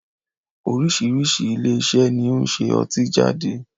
Oríṣiríṣi ilé iṣẹ́ ni ó ń ṣe ọtí jáde